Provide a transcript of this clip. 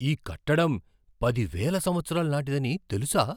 ఈ కట్టడం పదివేల సంవత్సరాల నాటిదని తెలుసా?